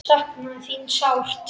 Sakna þín sárt.